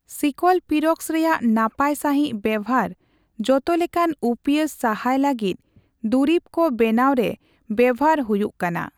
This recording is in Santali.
ᱥᱤᱠᱞᱚᱯᱤᱨᱚᱠᱥ ᱨᱮᱭᱟᱜ ᱱᱟᱯᱟᱭ ᱥᱟᱺᱦᱤᱡ ᱵᱮᱵᱷᱟᱨ ᱡᱚᱛᱚ ᱞᱮᱠᱟᱱ ᱩᱯᱭᱟᱺᱥ ᱥᱟᱦᱟᱭ ᱞᱟᱹᱜᱤᱫ ᱫᱩᱨᱤᱵ ᱠᱚ ᱵᱮᱱᱟᱣ ᱨᱮ ᱵᱮᱵᱷᱟᱨ ᱦᱩᱭᱩᱜ ᱠᱟᱱᱟ ᱾